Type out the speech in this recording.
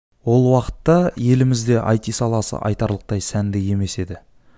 ол уақытта елімізде айти саласы айтарлықтай сәнді емес еді